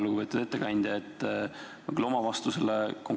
Lugupeetud ettekandja!